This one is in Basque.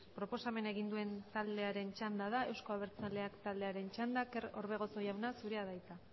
proposamen egin duen taldearen txanda da euzko abertzaleak taldearen txanda kerman orbegozo jauna zurea da hitza